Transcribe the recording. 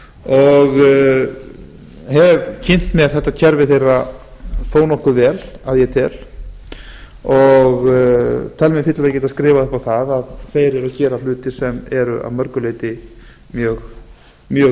og hef kynnt mér kerfi þeirra þó nokkuð vel ég tel mig fyllilega geta skrifað upp á það að þeir eru að gera hluti sem eru að mörgu leyti mjög